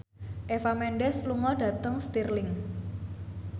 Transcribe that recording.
Eva Mendes lunga dhateng Stirling